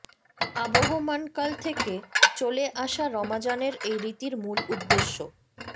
আবহমানকাল থেকে চলে আসা রমাজানের এই রীতির মূল উদ্দেশ্য